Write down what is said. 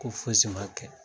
Ko fosi ma kɛ